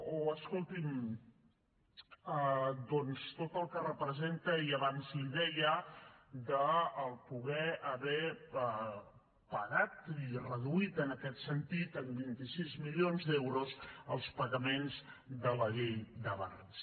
o escolti’m doncs tot el que representa i abans li ho deia poder haver pagat i reduït en aquest sentit en vint sis milions d’euros els pagaments de la llei de barris